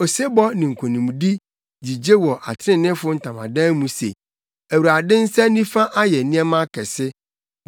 Osebɔ ne nkonimdi gyigye wɔ atreneefo ntamadan mu se, “ Awurade nsa nifa ayɛ nneɛma akɛse!